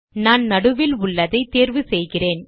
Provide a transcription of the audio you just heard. நான் நடுவில் உள்ளதை தேர்வு செய்கிறேன்